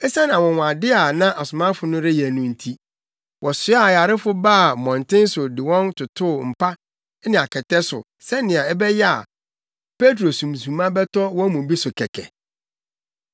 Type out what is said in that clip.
Esiane anwonwade a na asomafo no reyɛ no nti, wɔsoaa ayarefo baa mmɔnten so de wɔn totoo mpa ne akɛtɛ so sɛnea ɛbɛyɛ a Petro sunsuma bɛtɔ wɔn mu bi so kɛkɛ.